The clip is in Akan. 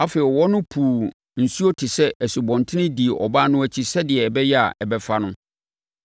Afei, ɔwɔ no puu nsuo te sɛ asubɔnten dii ɔbaa no akyi sɛdeɛ ɛbɛyɛ a, ɛbɛfa no.